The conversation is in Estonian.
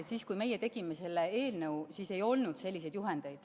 Esiteks, kui meie tegime selle eelnõu, siis ei olnud selliseid juhendeid.